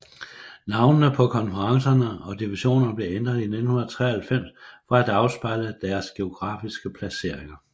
Navnene på konferencerne og divisionerne blev ændret i 1993 for at afspejle deres geografiske placeringer